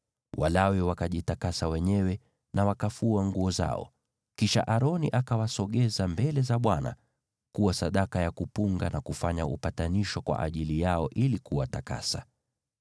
Walawi wakajitakasa wenyewe na wakafua nguo zao. Kisha Aroni akawasogeza mbele za Bwana kuwa sadaka ya kuinuliwa, na kufanya upatanisho kwa ajili yao ili kuwatakasa.